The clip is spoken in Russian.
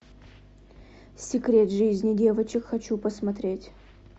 секрет жизни девочек хочу посмотреть